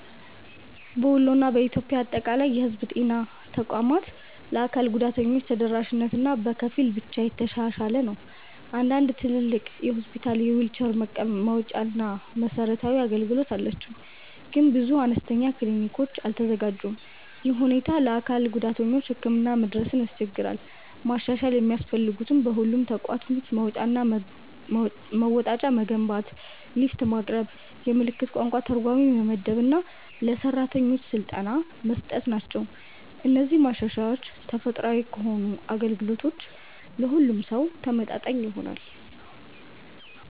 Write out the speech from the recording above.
በወሎ እና በኢትዮጵያ አጠቃላይ የህዝብ ጤና ተቋማት ለአካል ጉዳተኞች ተደራሽነት በከፊል ብቻ የተሻሻለ ነው። አንዳንድ ትልቅ ሆስፒታሎች የዊልቸር መወጣጫ እና መሰረታዊ አገልግሎት አላቸው፣ ግን ብዙ አነስተኛ ክሊኒኮች አልተዘጋጁም። ይህ ሁኔታ ለአካል ጉዳተኞች ህክምና መድረስን ያስቸግራል። ማሻሻያ የሚያስፈልጉት በሁሉም ተቋማት መወጣጫ መገንባት፣ ሊፍት ማቅረብ፣ የምልክት ቋንቋ ተርጓሚ መመደብ እና ለሰራተኞች ስልጠና መስጠት ናቸው። እነዚህ ማሻሻያዎች ተፈጥሯል ከሆነ አገልግሎቱ ለሁሉም ሰው ተመጣጣኝ ይሆናል።